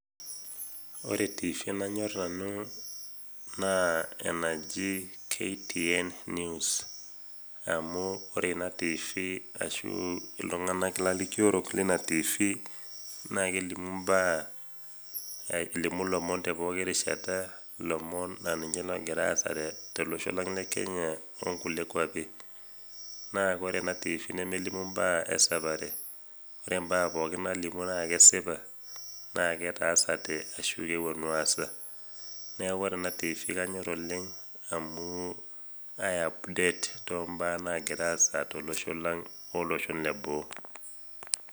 Ore tiifi nanyorr nanu naa enaji ktn news, amu ore ina tiifi ashuu iltung'ana lalikiorok leina tiifi naakelimu imbaa , elimu lomon tepooki rishata lomon naa ninche loogira aasa tolosho lang' le kenya onkulie kuapi. Naa kore ena tiifi nemelimu imbaa esapare, ore imbaa pooki naalimu naa kesipa naaketaasate ashu kepuonu aasa. Neaku ore ena  tiifi kanyorr oleng' amuu aiapdet tombaa nagiraasa tolosho lang' olosho le boo.